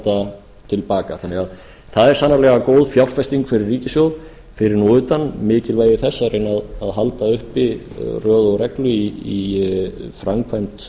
tólffalda til baka svo það er sannarlega góð fjárfesting fyrir ríkissjóð fyrir nú utan mikilvægi þess að reyna að halda uppi röð og reglu í framkvæmd